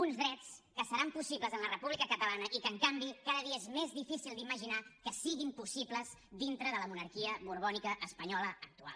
uns drets que seran possibles en la república catalana i que en canvi cada dia és més difícil d’imaginar que siguin possibles dintre de la monarquia borbònica espanyola actual